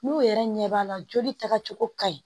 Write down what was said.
N'u yɛrɛ ɲɛ b'a la joli taga cogo ka ɲi